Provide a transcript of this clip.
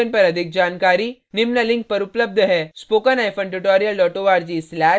इस mission पर अधिक जानकारी निम्न link पर उपलब्ध हैspoken hyphen tutorial dot org slash nmeict hyphen intro